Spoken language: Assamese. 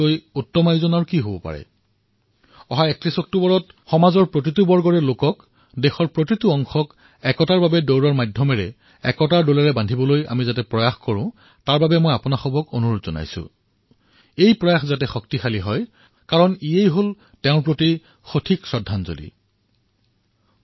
মই আপোনালোক সকলোকে আহ্বান জনাইছোঁ যে ৩১ অক্টোবৰত ৰাণ ফৰ ইউনিটীৰ জৰিয়তে সমাজৰ প্ৰতিটো শ্ৰেণী দেশৰ সকলো বৰ্গকে একতাৰ সূতাৰে বান্ধিবলৈ আমাৰ প্ৰয়াসক শক্তি প্ৰদান কৰক এয়াই তেওঁৰ প্ৰতি গভীৰ শ্ৰদ্ধাঞ্জলী হব